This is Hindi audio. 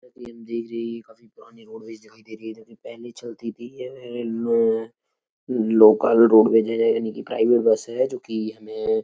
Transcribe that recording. एनजीजी काफी पुरानी रोडवेस दिखाई दे रही है। जो कि लोकल रोडवेस है। यानि कि प्राइवेट बस है। जो कि हमें --